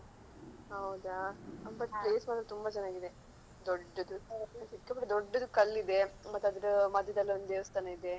ಹೌದಾ but place ಮಾತ್ರ ತುಂಬಾ ಚೆನ್ನಾಗಿದೆ ದೊಡ್ಡದು ಸಿಕ್ಕಾಪಟ್ಟು ದೊಡ್ಡದು ಕಲ್ಲಿದೆ ಮತ್ತೆ ಅದರ ಮಧ್ಯದಲ್ಲೊಂದು ದೇವಸ್ಥಾನ ಇದೆ